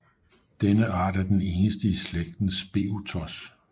Denne art er den eneste i slægten Speothos